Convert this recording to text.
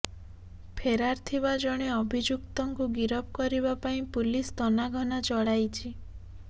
ଫେରାର ଥିବା ଜଣେ ଅଭିଯୁକ୍ତଙ୍କୁ ଗିରଫ କରିବାପାଇଁ ପୁଲିସ ତନାଘନା ଚଳାଇଛି